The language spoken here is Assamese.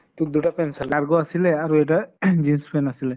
তʼ দুটা pant চালো, cargo আছিলে আৰু এটা ing jeans pant আছিলে